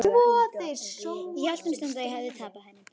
Ég hélt um stund að ég hefði tapað henni.